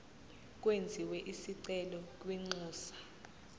kwenziwe isicelo kwinxusa